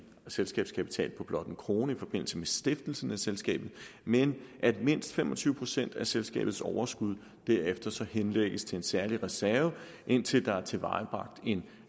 selskabskapital på blot en kroner i forbindelse med stiftelsen af selskabet men at mindst fem og tyve procent af selskabets overskud derefter henlægges til en særlig reserve indtil der er tilvejebragt en